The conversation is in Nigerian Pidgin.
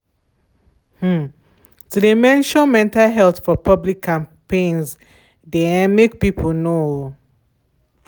um to de mention mental health for public campaigns de um make people know.